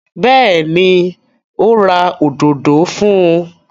Bẹ́ẹ̀ni, ó ra òdodo fún un.